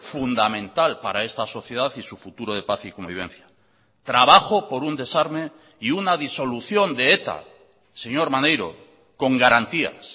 fundamental para esta sociedad y su futuro de paz y convivencia trabajo por un desarme y una disolución de eta señor maneiro con garantías